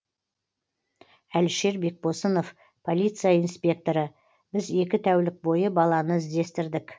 әлішер бекбосынов полиция инспекторы біз екі тәулік бойы баланы іздестірдік